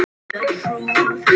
Hún skellir upp úr.